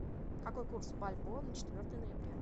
какой курс бальбоа на четвертое ноября